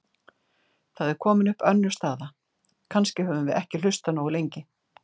Þá er komin upp önnur staða: Kannski höfum við ekki hlustað nógu lengi.